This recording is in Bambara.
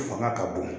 Fanga ka bon